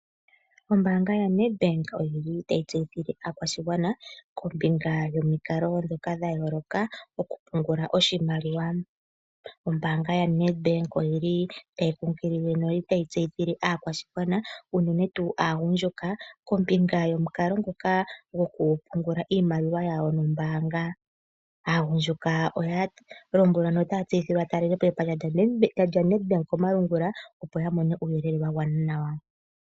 Ombaanga yaNEDBANK oyi li tayi tseyithile aakwashigwana, kombinga yomikalo ndhoka dha yooloka, okupungula oshimaliwa. Ombaanga yaNEDBANK oyi li tayi kunkilile notayi tseyithile aakwashigwana unene tuu aagundjuka kombinga yomukalo nguka gokupungula iimaliwa yawo yombaanga. Aagundjuka oya lombwelwa notaya tseyithilwa ya talele po epandja lyaNEDBANK komalungula opo ya mone uuyelele wagwana nawa.